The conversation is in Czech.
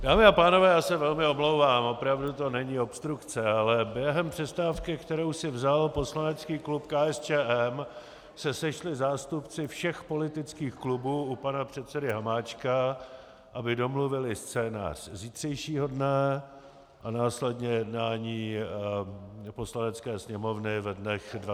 Dámy a pánové, já se velmi omlouvám, opravdu to není obstrukce, ale během přestávky, kterou si vzal poslanecký klub KSČM, se sešli zástupci všech politických klubů u pana předsedy Hamáčka, aby domluvili scénář zítřejšího dne a následně jednání Poslanecké sněmovny ve dnech 29. až 31. října .